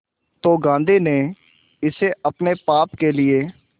तो गांधी ने इसे अपने पाप के लिए